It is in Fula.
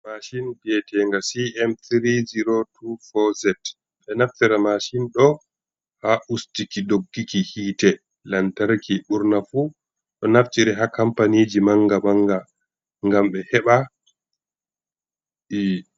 Mashin vi'eteenga cm3024z, ɓe naftira mashin ɗo haa ustuki dogguki hiite lantarki, burna fu ɗo naftire haa kampaniiji mannga-mannga ngam ɓe heɓa, ɓe....